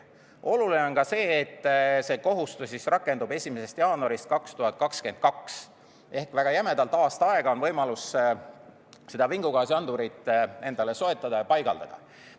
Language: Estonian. Oluline on ka see, et see kohustus rakendub 1. jaanuarist 2022 ehk väga jämedalt aasta aega on võimalus seda vingugaasiandurit endale soetada ja paigaldada.